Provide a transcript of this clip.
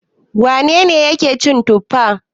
Wane ne yake cin tuffa?